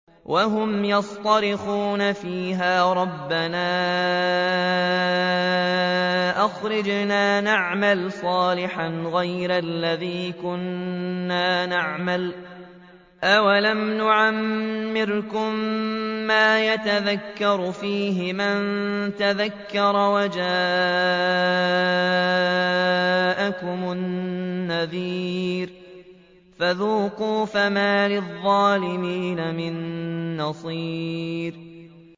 وَهُمْ يَصْطَرِخُونَ فِيهَا رَبَّنَا أَخْرِجْنَا نَعْمَلْ صَالِحًا غَيْرَ الَّذِي كُنَّا نَعْمَلُ ۚ أَوَلَمْ نُعَمِّرْكُم مَّا يَتَذَكَّرُ فِيهِ مَن تَذَكَّرَ وَجَاءَكُمُ النَّذِيرُ ۖ فَذُوقُوا فَمَا لِلظَّالِمِينَ مِن نَّصِيرٍ